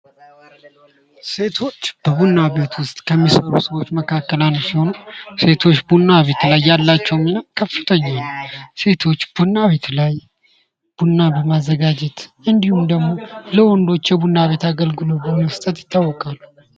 ሴቶች በቡና ቤቶች የሚሰሩ ሰዎች መካከል አንደኞች ሲሆኑ ሴቶች ቡና ቤት ላይ ያላቸው ሚና ከፍተኛ ነው። ሴቶች ቡና ቤት ላይ ቡና በማዘጋጀት እንዲሁም ደግሞ ለወንዶች የቡና ቤት አገልግሎት በመስጠት ይታወቃሉ።